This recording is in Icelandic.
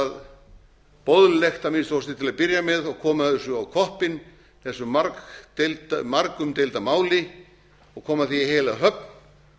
það boðlegt að minnsta kosti til að byrja með og koma þessu á koppinn þessu margumdeilda máli og koma því í heila höfn